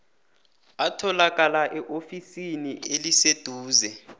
atholakala eofisini eliseduze